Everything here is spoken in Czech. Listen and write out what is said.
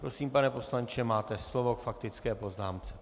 Prosím, pane poslanče, máte slovo k faktické poznámce.